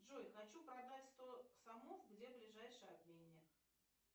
джой хочу продать сто сомов где ближайший обменник